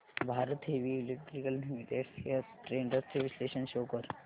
Bharat heavy electricals limited shares trends चे विश्लेषण show कर